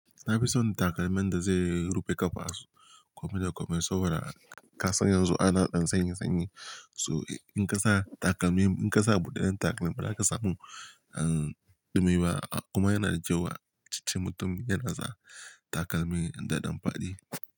Na fi son takalman da zai rufe ƙafasu, kome da kome saboda ƙasan yanzu ana ɗan sanyi sanyi. So in ƙasa takalmi, in ƙasa buɗaɗɗen takalmi ba za ƙasa mun han ɗumi ba kuma yana jiyowa, ticce mutum yana sa takalmi daɗan faɗi.